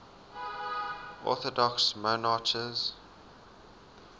orthodox monarchs